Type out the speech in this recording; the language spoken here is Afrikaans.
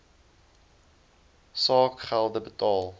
saak gelde betaal